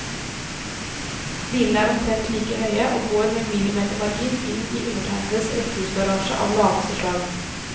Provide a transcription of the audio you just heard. Bilene er omtrent like høye og går med millimetermargin inn i undertegnedes rekkehusgarasje av laveste slag.